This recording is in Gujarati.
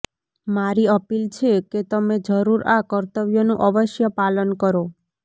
મારી અપીલ છે કે તમે જરૂર આ કર્તવ્યનું અવશ્ય પાલન કરો